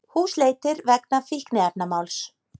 Húsleitir vegna fíkniefnamáls